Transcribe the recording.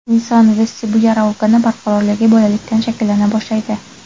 Inson vestibulyar organi barqarorligi bolalikdan shakllana boshlaydi.